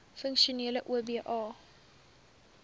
funksionele oba